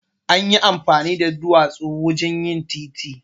Anyi amfani da duwatsu wajen yin titi.